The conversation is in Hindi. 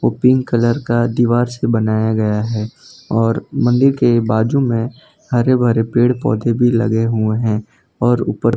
वो पिंक कलर का दीवार से बनाया गया है और मंदिर के बाजू में हरे भरे पेड़ पौधे भी लगे हुए है और ऊपर --